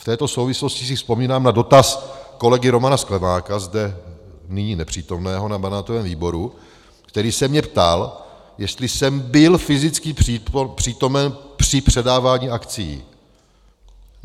V této souvislosti si vzpomínám na dotaz kolegy Romana Sklenáka, zde nyní nepřítomného, na mandátovém výboru, který se mě ptal, jestli jsem byl fyzicky přítomen při předávání akcií.